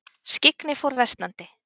Skyggni fór versnandi.